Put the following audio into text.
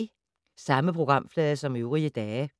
Samme programflade som øvrige dage